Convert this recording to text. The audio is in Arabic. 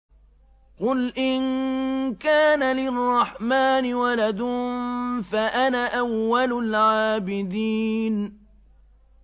قُلْ إِن كَانَ لِلرَّحْمَٰنِ وَلَدٌ فَأَنَا أَوَّلُ الْعَابِدِينَ